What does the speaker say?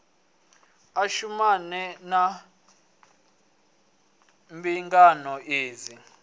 a shumane na mbingano idzi